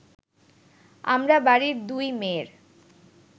আমরা বাড়ির দুই মেয়ের